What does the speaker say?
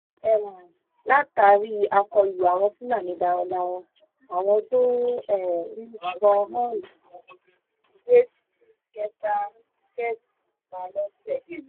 um látàrí àkọlù àwọn fúlàní darandaran àwọn tó um pa lọ́sẹ̀